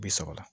Bi saba